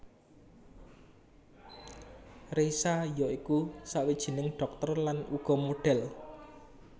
Reisa ya iku sawijining dhokter lan uga modhel